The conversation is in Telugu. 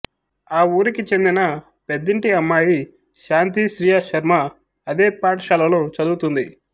ఆ ఊరికే చెందిన పెద్దింటి అమ్మాయి శాంతి శ్రియాశర్మ అదే పాఠశాలలో చదువుతుంది